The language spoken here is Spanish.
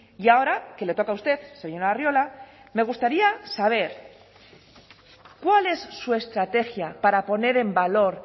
y ahora que le toca a usted señor arriola me gustaría saber cuál es su estrategia para poner en valor